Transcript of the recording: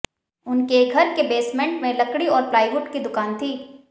उनके घर के बेसमेंट में लकड़ी और प्लाईवुड की दुकान थी